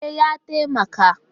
E, ya taimaka